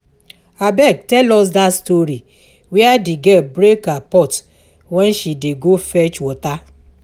Abeg tell us dat story where the girl break her pot wen she dey go fetch water